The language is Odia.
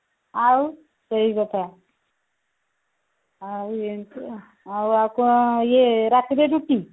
ଆଉ ସେଇ କଥା ଆଉ ଏମିତି ଆଉ ଆଉ ୟାକୁ ଆଉ ରାତିରେ ରୁଟି